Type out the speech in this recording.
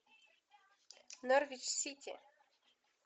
норвич сити